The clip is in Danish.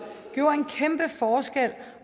gjorde en kæmpe forskel